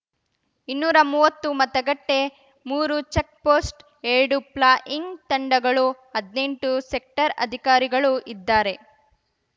ಇನ್ನೂರಾ ಮೂವತ್ತು ಮತಗಟ್ಟೆ ಮೂರು ಚಕ್ ಪೋಸ್ಟ್ ಎರಡು ಪ್ಲಾಯಿಂಗ್ ತಂಡಗಳು ಹದ್ನೆಂಟು ಸೆಕ್ಟರ್ ಅಧಿಕಾರಿಗಳು ಇದ್ದಾರೆ